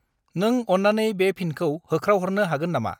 नों अन्नानै बे फिनखौ होख्रावहरनो हागोन नामा?